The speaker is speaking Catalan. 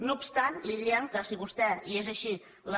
no obstant li diem que si vostè i és així